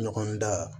Ɲɔgɔn da